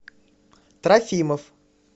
трофимов